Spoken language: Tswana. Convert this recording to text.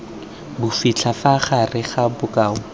bofitlha fa gare ga bokao